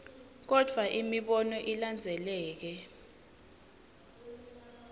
kodvwa imibono ilandzeleka